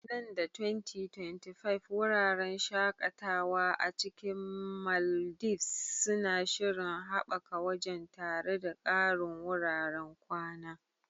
Nan da 2025, wuraren shakatawa a cikin Maldives suna shirin haɓaka wajen, tare da ƙarin wuraren kwana.